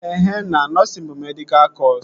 Ehe na, nọsịn bụ medịkal kọsu